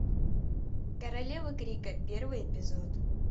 королева крика первый эпизод